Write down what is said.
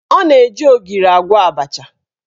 Ọ na-eji ogiri agwọ abacha